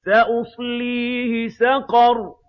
سَأُصْلِيهِ سَقَرَ